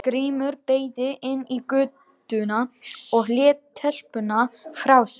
Grímur beygði inn í götuna og lét telpuna frá sér.